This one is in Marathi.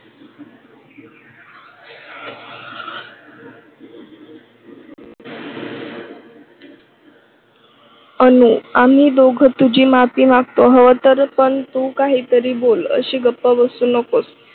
अनु आम्ही दोघ हवं तर माफी मागतो. हवंतर पण तू काही तरी बोल. अशी गप्प बसू नकोस.